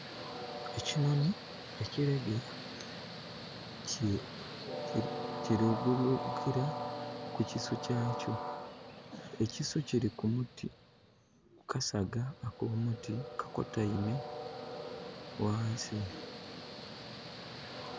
Ekinoni ekiregeya kiri gulukira ku kisu kyakyo. Ekisu kiri ku muti. Kasaga ak'omuti kakotaime wansi